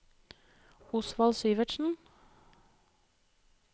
Osvald Syvertsen